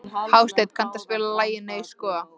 Hásteinn, kanntu að spila lagið „Nei sko“?